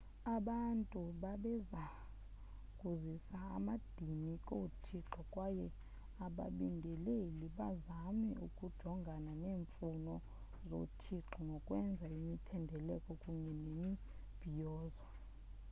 abantu babeza kuzisa amadini koothixo kwaye ababingeleli bazame ukujongana neemfuno zoothixo ngokwenza imithendeleko kunye nemibhiyozo